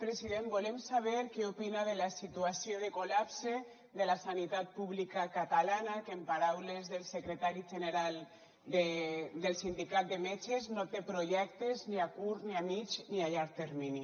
president volem saber què opina de la situació de col·lapse de la sanitat pública catalana que en paraules del secretari general del sindicat de metges no té projecte ni a curt ni a mitjà ni a llarg termini